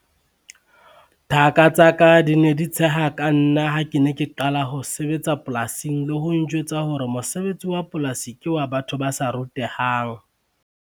Thaka tsa ka di ne di tsheha ka nna ha ke ne ke qala ho sebetsa polasing le ho njwetsa hore mosebetsi wa polasi ke wa batho ba sa rutehang.